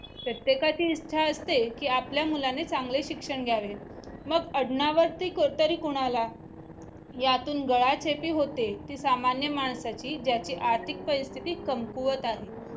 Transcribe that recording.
प्रत्येकाची इच्छा असते की आपल्या मुलाने चांगले शिक्षण घ्यावे मग आडनावर्ती कोडतरी कोणाला यातून गाळशेटी होते ती सामान्य माणसाची ज्याची आर्थिक परिस्थिती कमकुवत आहे